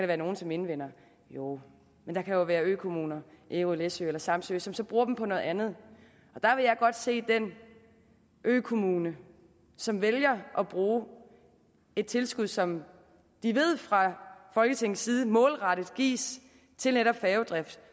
være nogle som indvender jo men der kan jo være økommuner ærø læsø eller samsø som så bruger dem på noget andet og der vil jeg godt se den økommune som vælger at bruge et tilskud som de ved fra folketingets side målrettet gives til netop færgedrift